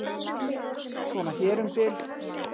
Svona hér um bil.